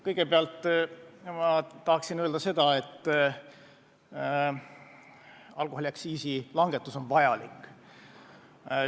Kõigepealt ma tahan öelda seda, et alkoholiaktsiisi langetus on vajalik.